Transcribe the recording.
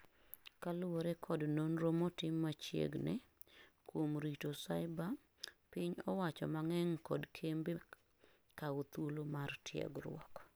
kaluwore kod nonro motim machiegnikuom rito cibre, piny owacho mang'eny kod kembe kawo thuolo mar tiegruok